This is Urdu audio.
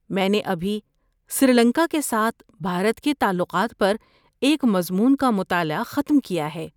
میں نے ابھی سری لنکا کے ساتھ بھارت کے تعلقات پر ایک مضمون کا مطالعہ ختم کیا ہے۔